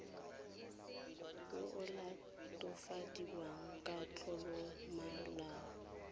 yo o latofadiwang ka tlolomolao